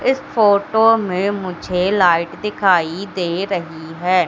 इस फोटो में मुझे लाइट दिखाई दे रही है।